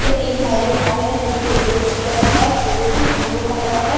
ये एक marriage hall है जो कि डेकोरेट किया गया है फूलों से फूलों का रंग है।